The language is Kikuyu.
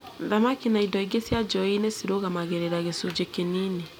Thamaki na indo ingĩ cia njuĩ-inĩ cĩrugamagĩrĩra gĩcunjĩ kĩnini